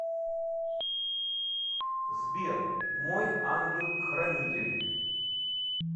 сбер мой ангел хранитель